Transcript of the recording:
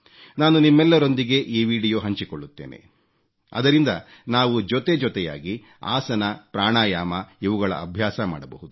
ನಾನು ನಿಮ್ಮೆಲ್ಲರೊಂದಿಗೆ ಈ ವೀಡಿಯೊ ಹಂಚಿಕೊಳ್ಳುತ್ತೇನೆ ಅದರಿಂದ ನಾವು ಜೊತೆಜೊತೆಯಾಗಿ ಆಸನ ಪ್ರಾಣಾಯಾಮ ಇವುಗಳ ಅಭ್ಯಾಸ ಮಾಡಬಹುದು